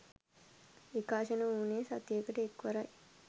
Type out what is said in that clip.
විකාශන වුණේ සතියකට එක්වරයි.